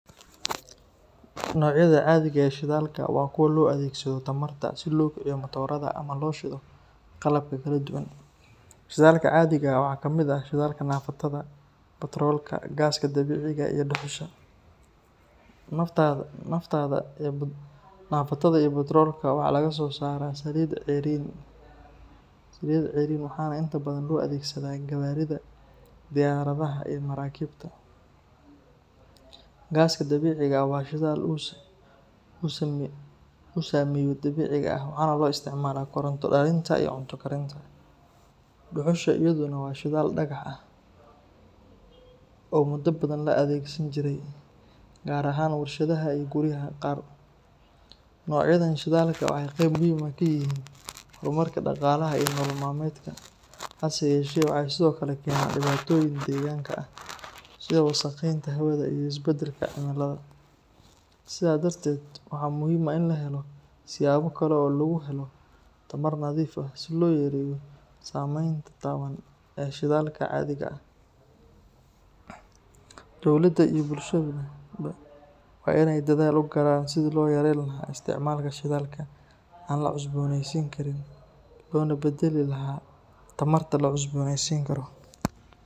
Noocyada caadiga ah ee shidaalka waa kuwa loo adeegsado tamarta si loo kiciyo matoorada ama loo shido qalabka kala duwan. Shidaalka caadiga ah waxaa ka mid ah shidaalka naaftada, batroolka, gaaska dabiiciga ah iyo dhuxusha. Naaftada iyo batroolka waxaa laga soosaaraa saliidda ceeriin waxaana inta badan loo adeegsadaa gawaarida, diyaaradaha iyo maraakiibta. Gaaska dabiiciga ah waa shidaal uu sameeyo dabiiciga ah waxaana loo isticmaalaa koronto dhalinta iyo cunto karinta. Dhuxusha iyaduna waa shidaal dhagax ah oo muddo badan la adeegsan jiray, gaar ahaan warshadaha iyo guriyaha qaar. Noocyadan shidaalka waxay qayb muhiim ah ka yihiin horumarka dhaqaalaha iyo nolol maalmeedka, hase yeeshee waxay sidoo kale keenaan dhibaatooyin deegaanka ah sida wasakheynta hawada iyo isbedelka cimilada. Sidaa darteed, waxaa muhiim ah in la helo siyaabo kale oo lagu helo tamar nadiif ah si loo yareeyo saameynta taban ee shidaalka caadiga ah. Dowladda iyo bulshaduba waa in ay dadaal u galaan sidii loo yareyn lahaa isticmaalka shidaalka aan la cusboonaysiin karin loona beddeli lahaa tamarta la cusboonaysiin karo.